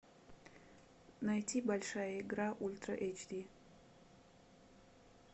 найти большая игра ультра эйч ди